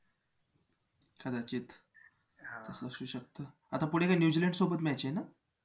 कदाचित असं असू शकतं. आता पुढे काय New Zealand सोबत match आहे ना?